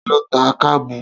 Ta ló ta kábù?